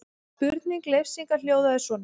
Spurning Leifs Inga hljóðaði svona: